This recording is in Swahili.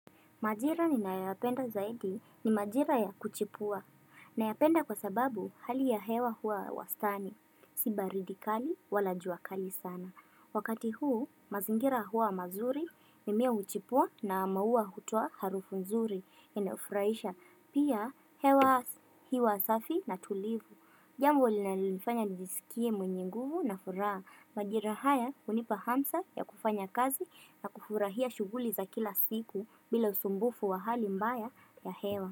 Majira ninayoyapenda zaidi ni majira ya kuchipua. Nayapenda kwa sababu hali ya hewa huwa wastani, si baridi kali wala juakali sana. Wakati huu, mazingira huwa mazuri, mimea huchipua na maua hutoa harufu nzuri inayofurahisha. Pia, hewa asa, hiwa safi na tulivu. Jambo linalonifanya nijisikie mwenye nguvu na furaha. Majira haya hunipa hamsa ya kufanya kazi na kufurahia shughuli za kila siku bila usumbufu wa hali mbaya ya hewa.